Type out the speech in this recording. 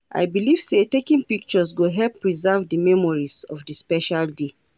I believe say taking pictures go help preserve di memories of di special day.